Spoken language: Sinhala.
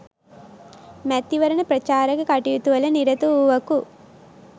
මැතිවරණ ප්‍රචාරක කටයුතුවල නිරත වූවකු